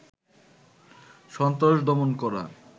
সন্ত্রাস দমন করা